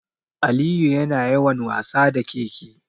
Aliyu yana yawan wasa da ƙeƙe.